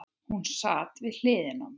Hún sat við hlið mér.